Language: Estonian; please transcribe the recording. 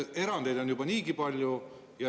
Erandeid on juba niigi palju.